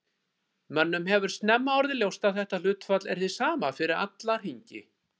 Mönnum hefur snemma orðið ljóst að þetta hlutfall er hið sama fyrir alla hringi.